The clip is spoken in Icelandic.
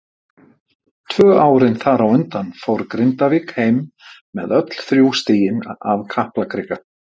Tvö árin þar á undan fór Grindavík heim með öll þrjú stigin af Kaplakrika.